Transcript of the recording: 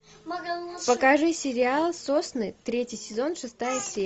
покажи сериал сосны третий сезон шестая серия